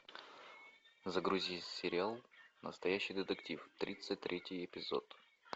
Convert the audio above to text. загрузи сериал настоящий детектив тридцать третий эпизод